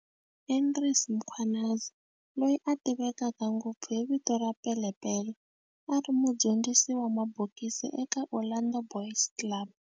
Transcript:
Andries Mkhwanazi, loyi a tiveka ngopfu hi vito ra "Pele Pele", a ri mudyondzisi wa mabokisi eka Orlando Boys Club.